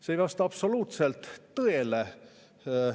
See ei vasta absoluutselt tõele.